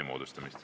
Aitäh!